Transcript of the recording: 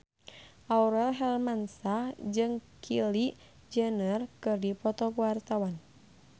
Aurel Hermansyah jeung Kylie Jenner keur dipoto ku wartawan